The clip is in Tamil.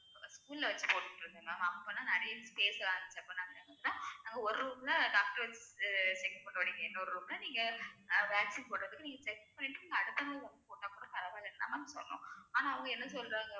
school ல வச்சு போட்டுட்டு இருந்தேன் ma'am அப்பெல்லாம் நிறைய space லாம் இருந்துச்சு அதுக்கப்பறம் தான் நாங்க ஒரு room ல doctor check பண்ணுவாரு இன்னொரு room ல நீங்க vaccine போடறதுக்கு நீங்க check பண்ணிட்டு அடுத்த நாள் வந்து போட்ட போதும் பரவாயில்லைன்னு தான் ma'am சொன்னோம் ஆனா அவங்க என்ன சொல்றாங்க